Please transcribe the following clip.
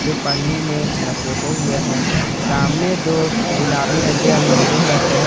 पन्नी मे लपेटे हुए हैं सामने दो गुलाबी रंग के अलमीरे रखे हैं।